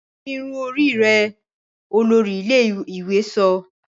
Dì irun orí rẹ! olórí ilé-ìwé sọ